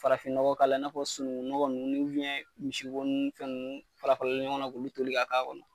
Farafin nɔgɔ k'ala i n'a fɔ sunugun nɔgɔ nunnu misi bo nin fɛn nunnu farafaralen ɲɔgɔn na k'olu toli ka ka kɔnɔ.